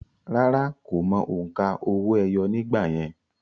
Rárá, kò mọ òǹkà owó-ẹyọ nígbà yẹn